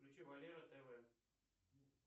включи валера тв